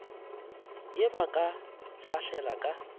ye ba ka fahlela ka